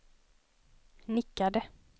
nickade